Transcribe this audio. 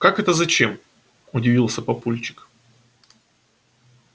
как это зачем удивился папульчик